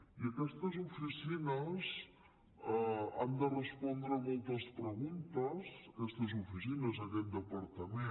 i aquestes oficines han de respondre a moltes preguntes aquestes oficines aquest departament